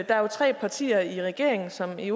der er jo tre partier i regeringen som i